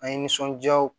An ye nisɔndiya